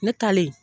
Ne talen